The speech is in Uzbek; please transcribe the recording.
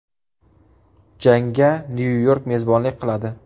Jangga Nyu-York mezbonlik qiladi.